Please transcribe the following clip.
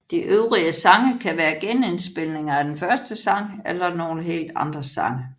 De øvrige sange kan være genindspilninger af den første sang eller nogle helt andre sange